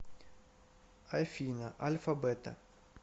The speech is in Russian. афина альфа бета